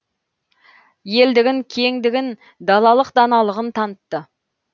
елдігін кеңдігін далалық даналығын танытты